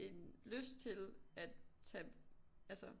En lyst til at tage altså